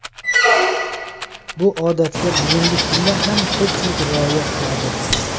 Bu odatga bugungi kunda ham ko‘pchilik rioya qiladi.